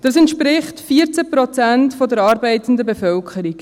Das entspricht 14 Prozent der arbeitenden Bevölkerung.